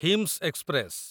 ହିମ୍ସ express